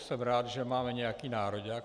Jsem rád, že máme nějaký nároďák.